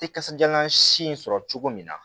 Tɛ kasajalan si in sɔrɔ cogo min na